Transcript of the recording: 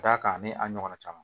Ka d'a kan a n'a ɲɔgɔnna caman